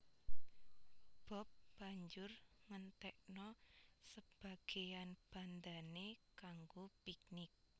Bob banjur ngentekna sebageyan bandhané kanggo piknik